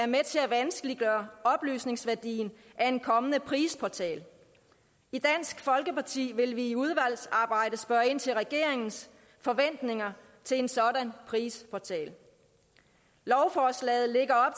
med til at vanskeliggøre oplysningsværdien af en kommende prisportal i dansk folkeparti vil vi i udvalgsarbejdet spørge ind til regeringens forventninger til en sådan prisportal lovforslaget lægger